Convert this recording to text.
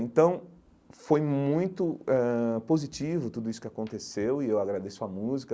Então foi muito ãh positivo tudo isso que aconteceu, e eu agradeço a música.